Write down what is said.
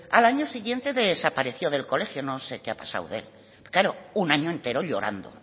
al año siguiente desapareció del colegio no sé qué ha pasado con él claro un año entero llorando